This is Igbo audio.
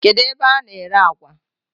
Kedụ ebe a na-ere àgwà?